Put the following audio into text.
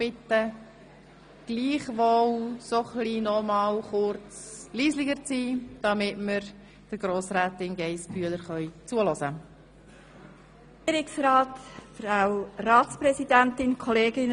Darf ich Sie bitten, noch kurz leise zu sein, damit wir Grossrätin Geissbühler zuhören können?